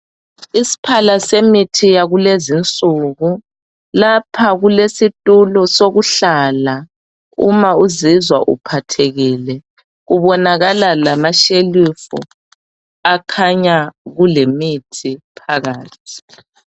Isiphala semithi yakulezinsuku lapha kulesitulo sokuhlala uma uzizwa uphathekile, kubonakala lamashelufu akhanya kulemithi phakathi.